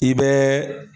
I bɛ